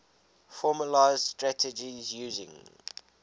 formalised strategies using